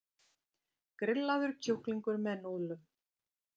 Grillaður kjúklingur með núðlum